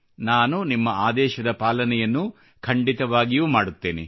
ನಾನು ನಿಮ್ಮ ಆದೇಶದ ಪಾಲನೆಯನ್ನು ಖಂಡಿತವಾಗಿಯೂ ಮಾಡುತ್ತೇನೆ